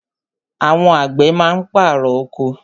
Àwọn àgbẹ̀ má ń pàrọ̀ oko.